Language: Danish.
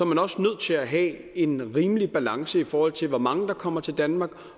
man også nødt til at have en rimelig balance i forhold til hvor mange der kommer til danmark